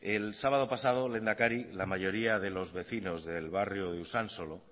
el sábado pasado lehendakari la mayoría de los vecinos del barrio de usánsolo